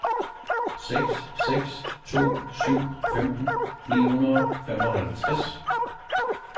seks seks to syv femten ni hundrede og femoghalvtreds